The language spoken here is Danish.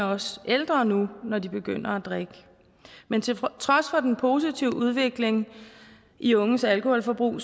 også ældre nu når de begynder at drikke men til trods for den positive udvikling i unges alkoholforbrug